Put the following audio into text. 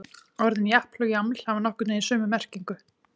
Orðin japl og jaml hafa nokkurn veginn sömu merkingu.